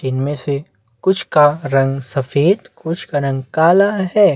इन मे से कुछ का रंग सफेद कुछ का रंग काला है।